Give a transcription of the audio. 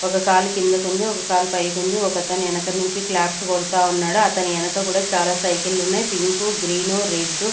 ఒక కాలు కిందకు ఉంది ఒక కాలు పైకి ఉంది ఒకతను వెనకనుంచి క్లాప్స్ కొడతా ఉన్నాడు అతని వెనక కూడా చాలా సైకిల్ ఉన్నాయి pink uh green uh red --